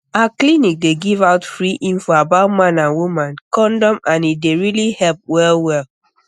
our clinic dey give um out free info about man and woman condom and e really dey help wellwell